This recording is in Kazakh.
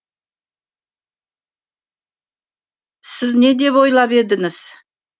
сіз не деп ойлап едіңіз